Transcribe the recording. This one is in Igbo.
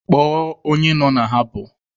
Kpọọ onye nọ na habọ!